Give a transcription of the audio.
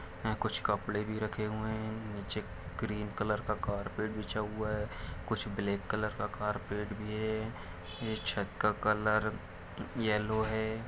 कुछ कपड़े भी रखे हुए है निचे ग्रीन कलर का कारपेट बिछा हुआ है कुछ ब्लेक कलर का कारपेट भी है ये छत का कलर यल्लो है।